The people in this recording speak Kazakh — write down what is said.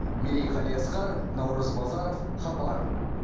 мерей қалиасқар наурыз базаров хабар